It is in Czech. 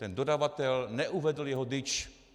Ten dodavatel neuvedl jeho DIČ.